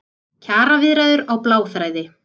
Kjaraviðræður á bláþræði